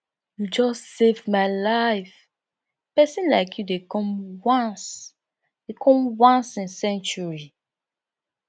you just save my life pesin like you dey come once dey come once in century